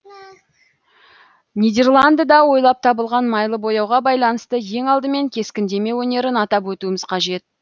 нидерландыда ойлап табылған майлы бояуға байланысты ең алдымен кескіндеме өнерін атап өтуіміз қажет